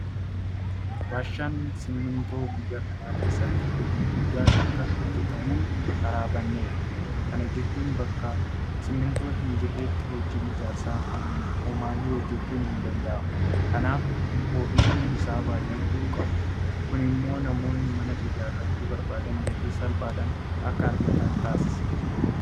Warshaan Simmintoo biyya kana keessatti hojii guddaan akka hojjetamuun karaa baneera. Kana jechuun bakka simmintoon hinjirretti hojii ijaarsaa homaayyuu hojjechuun hin danda'amu. Kanaaf oomishni isaa baay'achuu qaba. Kun immoo namoonni mana ijaarrachuu barbaadan gatii salphaadhaan akka argatan taasisa.